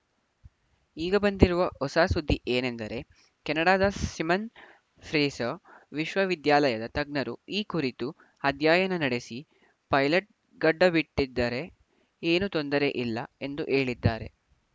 ಈಗ ಬಂದಿರುವ ಹೊಸ ಸುದ್ದಿ ಏನೆಂದರೆ ಕೆನಡಾದ ಸಿಮನ್‌ ಫ್ರೇಸರ್‌ ವಿಶ್ವವಿದ್ಯಾಲಯದ ತಜ್ಞರು ಈ ಕುರಿತು ಅಧ್ಯಯನ ನಡೆಸಿ ಪೈಲಟ್‌ ಗಡ್ಡ ಬಿಟ್ಟಿದ್ದರೆ ಏನೂ ತೊಂದರೆಯಿಲ್ಲ ಎಂದು ಹೇಳಿದ್ದಾರೆ